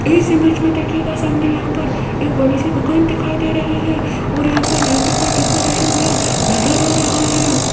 इस इमेज में देखियेगा सामने यहां पर एक बड़ी सी दुकान दिखाई दे रही है और यहां पर लाइटों का डेकोरेशन भी नजर आ रहा है।